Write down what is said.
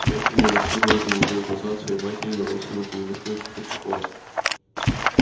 лефкин унаследовал голубые глаза от своей матери но нос его был несколько крючковат